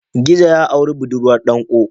Gizo ya auri budurwar danƙo.